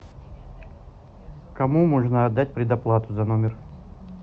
кому можно отдать предоплату за номер